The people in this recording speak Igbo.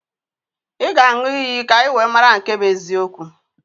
Ị ga-aṅụ iyi ka anyị wee mara nke bụ eziokwu